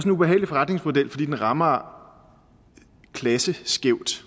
en ubehagelig forretningsmodel fordi den rammer klasseskævt